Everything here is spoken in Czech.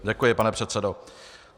Děkuji, pane předsedo.